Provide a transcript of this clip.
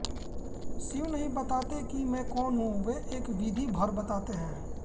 शिव नहीं बताते कि मैं कौन हूँ वे एक विधि भर बताते हैं